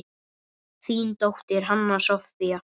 Þín dóttir, Hanna Soffía.